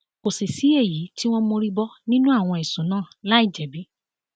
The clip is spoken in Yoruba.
kò sì sí èyí tí wọn mórí bọ nínú àwọn ẹsùn náà láì jẹbi